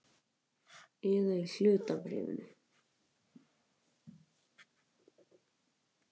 Eða í hlutabréfum.